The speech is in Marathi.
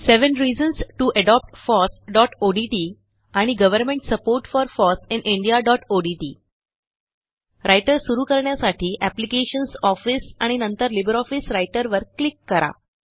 seven reasons to adopt fossओडीटी आणि government support for foss in indiaओडीटी रायटर सुरू करण्यासाठी एप्लिकेशन्स ऑफिस आणि नंतर लिब्रिऑफिस राइटर वर क्लिक करा